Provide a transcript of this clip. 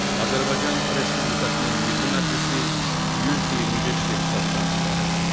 Azərbaycan Respublikasının Milli Məclisi 125 deputatdan ibarətdir.